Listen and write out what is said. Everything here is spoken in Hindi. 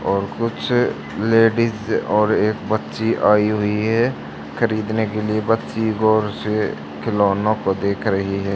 और कुछ लेडिस और एक बच्ची आई हुई है खरीदने के लिए बच्ची गौर से खिलौनो को देख रही है।